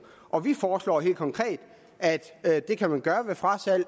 og vi foreslår helt konkret at at det kan man gøre ved frasalg